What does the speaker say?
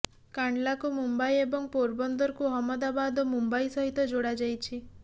କାଣ୍ଡଲାକୁ ମୁମ୍ବାଇ ଏବଂ ପୋରବନ୍ଦରକୁ ଅହମଦାବାଦ ଓ ମୁମ୍ବାଇ ସହିତ ଯୋଡ଼ାଯାଇଛି